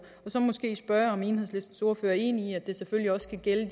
så måske spørge om enhedslistens ordfører er enig i at det selvfølgelig også skal gælde